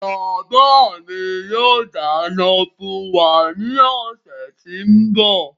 Bàbá mi yóò dáná fún wa ní ọ̀sẹ̀ tí ń bọ̀.